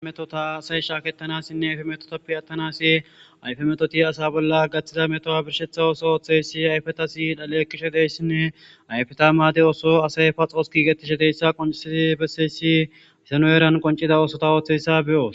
Ayfe metota asay shaakettanassinne ayfe metotappi attanasi ayfe metoti asa bolla gaththida metoa birshetha ooso ooththeyssi ayfetasi dhaleekishe deyssinne ayfeta maade ooso asay paxoos kigetisheteyssa qonciii besseyssi isano eeran qoncida oosota ooththeyssa beyoos